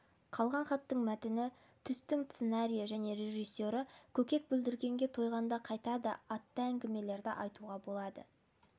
қалған хаттың мәтіні түстің сценариі және режиссері көкек бүлдіргенге тойғанда қайтады атты әңгімелерді айтуға болады